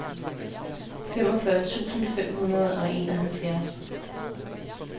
femogfyrre tusind fem hundrede og enoghalvfjerds